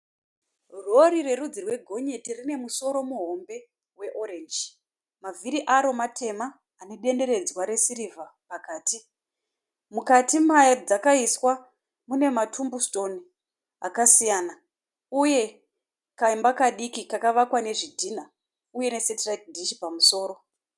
Rhorhi rerudzi rwegonyeti rine musoro muhombe weoranji. Mavhiri aro matema anedenderedzwa resirivha pakati. Mukati madzakaiswa mune matumbusitoni akasiyana uye kaimba kadiki kakavakwa nezvidhinha uye nesetiraiti dhishi pamusoro.